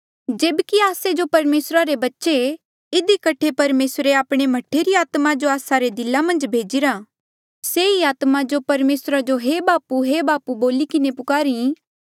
जेब्की आस्से जो परमेसरा रे बच्चे ऐें इधी कठे परमेसरे आपणे मह्ठे री आत्मा जो आस्सा रे दिला मन्झ भेजिरा से ही आत्मा जो परमेसरा जो हे बापू हे बापू बोली किन्हें पुकारी